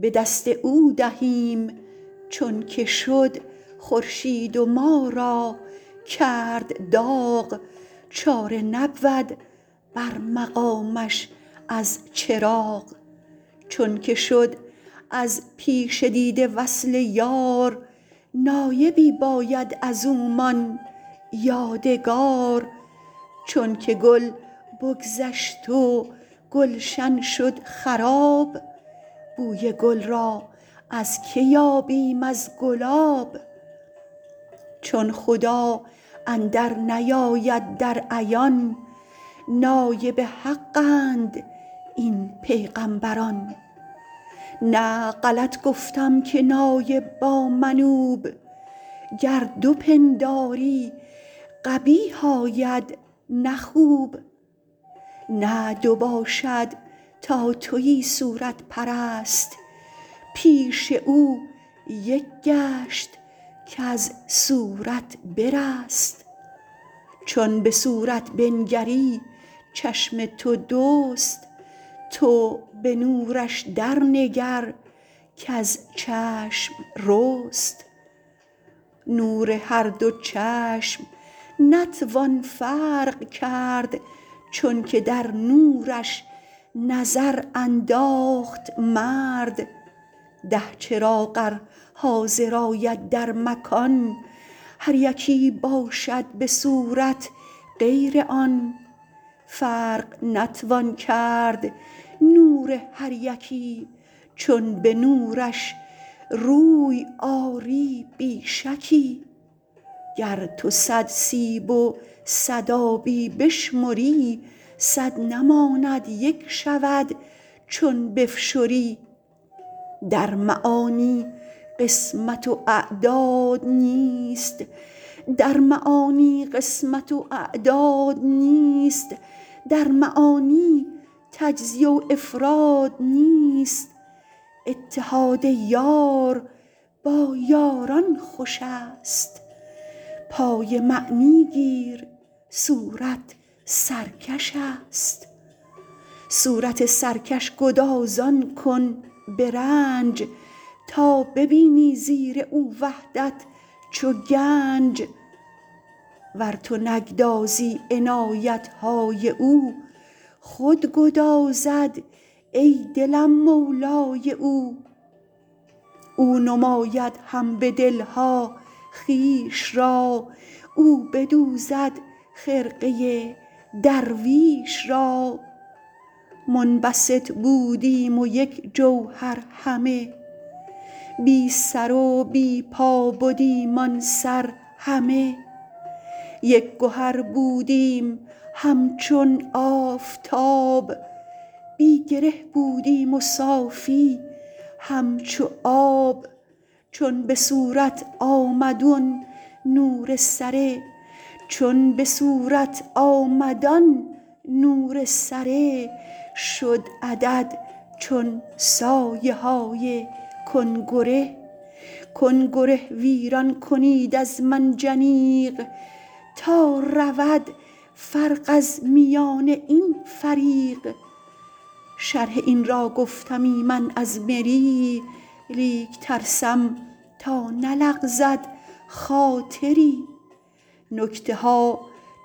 به دست او دهیم چونک شد خورشید و ما را کرد داغ چاره نبود بر مقامش از چراغ چونک شد از پیش دیده وصل یار نایبی باید ازومان یادگار چونک گل بگذشت و گلشن شد خراب بوی گل را از که یابیم از گلاب چون خدا اندر نیاید در عیان نایب حق اند این پیغامبران نه غلط گفتم که نایب با منوب گر دو پنداری قبیح آید نه خوب نه دو باشد تا توی صورت پرست پیش او یک گشت کز صورت برست چون به صورت بنگری چشم تو دوست تو به نورش در نگر کز چشم رست نور هر دو چشم نتوان فرق کرد چونک در نورش نظر انداخت مرد ده چراغ ار حاضر آید در مکان هر یکی باشد بصورت غیر آن فرق نتوان کرد نور هر یکی چون به نورش روی آری بی شکی گر تو صد سیب و صد آبی بشمری صد نماند یک شود چون بفشری در معانی قسمت و اعداد نیست در معانی تجزیه و افراد نیست اتحاد یار با یاران خوشست پای معنی گیر صورت سرکشست صورت سرکش گدازان کن برنج تا ببینی زیر او وحدت چو گنج ور تو نگدازی عنایتهای او خود گدازد ای دلم مولای او او نماید هم به دلها خویش را او بدوزد خرقه درویش را منبسط بودیم یک جوهر همه بی سر و بی پا بدیم آن سر همه یک گهر بودیم همچون آفتاب بی گره بودیم و صافی همچو آب چون بصورت آمد آن نور سره شد عدد چون سایه های کنگره گنگره ویران کنید از منجنیق تا رود فرق از میان این فریق شرح این را گفتمی من از مری لیک ترسم تا نلغزد خاطری نکته ها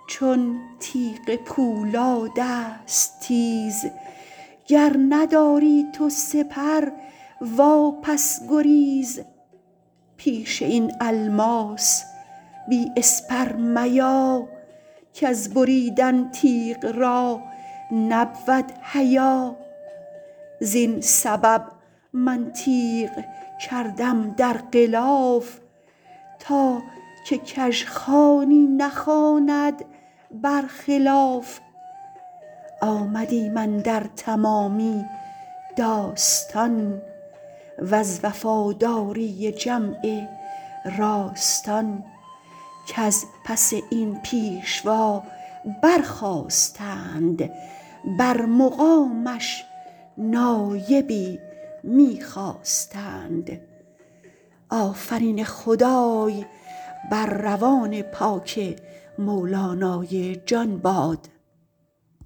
چون تیغ پولادست تیز گر نداری تو سپر وا پس گریز پیش این الماس بی اسپر میا کز بریدن تیغ را نبود حیا زین سبب من تیغ کردم در غلاف تا که کژخوانی نخواند برخلاف آمدیم اندر تمامی داستان وز وفاداری جمع راستان کز پس این پیشوا بر خاستند بر مقامش نایبی می خواستند